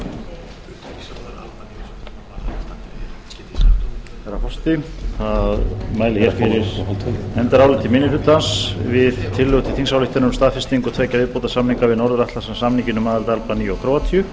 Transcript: herra forseti ég mæli fyrir nefndaráliti minni hlutans um tillögu til þingsályktunar um staðfestingu tveggja viðbótarsamninga við norður atlantshafssamninginn um aðild albaníu og króatíu